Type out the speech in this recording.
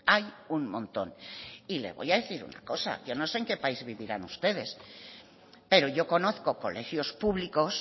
hay un montón y le voy a decir una cosa que yo no sé en qué país vivirán ustedes pero yo conozco colegios públicos